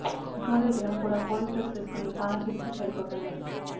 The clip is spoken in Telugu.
ముఖ్యమంత్రి జగన్ కూడా పోలీస్ డ్రస్ వేసుకుని పాలన చేస్తే సరిపోతుంది